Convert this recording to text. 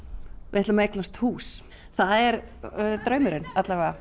við ætlum að eignast hús það er draumurinn